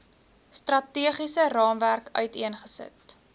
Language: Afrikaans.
strategiese raamwerk uiteengesit